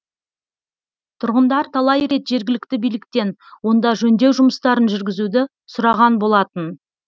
тұрғындар талай рет жергілікті биліктен онда жөндеу жұмыстарын жүргізуді сұраған болатын